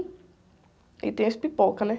E tem as pipocas, né?